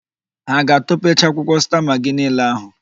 Ha a ga-atọpecha akwụkwọ sta magị niile ahụ?